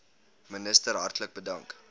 minister hartlik bedank